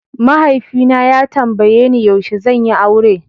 Mahaifi na ya tambaye ni yaushe zan yi aure.